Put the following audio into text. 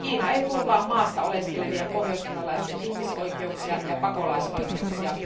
Kiina ei turvaa maassa oleskelevien pohjoiskorealaisten ihmisoikeuksia ja pakolaisoikeuksia.